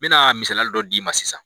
N mɛna misaliyali dɔ d'i ma sisan